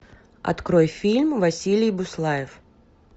открой фильм василий буслаев